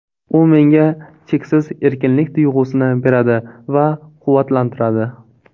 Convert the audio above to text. U menga cheksiz erkinlik tuyg‘usini beradi va quvvatlantiradi.